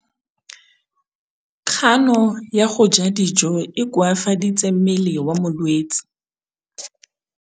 Kganô ya go ja dijo e koafaditse mmele wa molwetse.